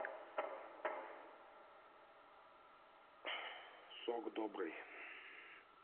сок добрый